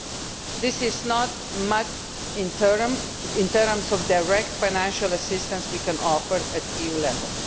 There is not much in terms of direct financial assistance we can offer at EU level.